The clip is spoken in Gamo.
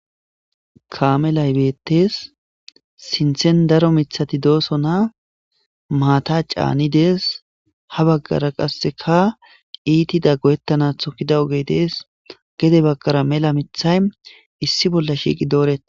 kamelay beettees. sinthen daro mithati doosonaa maata caani dees ha baggara qasseka iitida godettana thokida ogey dees gede baggara mela mithay issi bolla shiiqi dooretta.